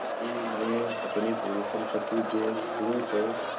यदि मैं अपनी पूरी सम्पति बेच दूँ तो